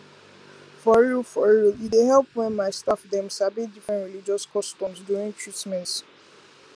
for real for real e dey help when my staff dem sabi different religious customs during treatment